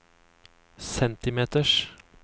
centimeters